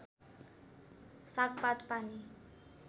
सागपात पानी